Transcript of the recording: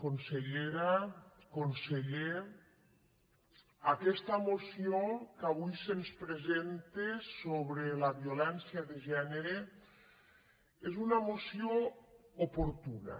consellera conseller aquesta moció que avui se’ns presenta sobre la violència de gènere és una moció oportuna